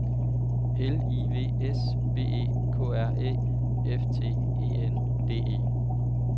L I V S B E K R Æ F T E N D E